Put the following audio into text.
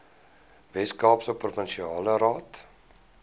weskaapse provinsiale raad